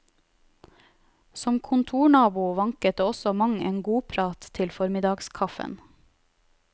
Som kontornabo vanket det også mang en godprat til formiddagskaffen.